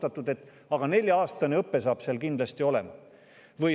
Aga juba on otsustatud, et nelja-aastane õpe hakkab seal kindlasti olema.